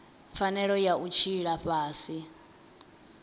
pfanelo ya u tshila fhasi